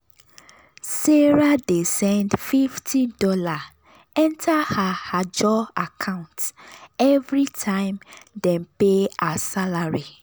sarah dey send fifty dollarsenter her ajo account every time dem pay her salary.